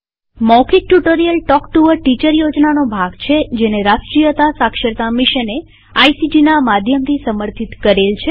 મૌખિક tutorial talk to a teacher યોજનાનો ભાગ છેજેને રાષ્ટ્રીય સાક્ષરતા મિશને આઇસીટી ના માધ્યમથી સમર્થિત કરેલ છે